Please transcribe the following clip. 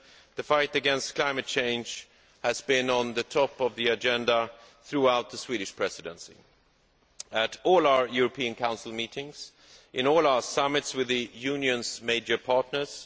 The fight against climate change has been at the top of the agenda throughout the Swedish Presidency, at all our European Council meetings and in all our summits with the Union's major partners.